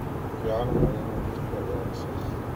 Wayficanthy ina jirka ilaliso.